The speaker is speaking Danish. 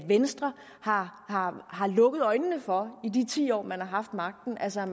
venstre har har lukket øjnene for i de ti år man har haft magten altså